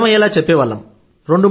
అర్థమయ్యేలా చెప్పేవాళ్లం